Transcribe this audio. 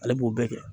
Ale b'o bɛɛ kɛ